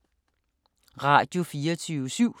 Radio24syv